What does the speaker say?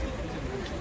Yolu boş qoy.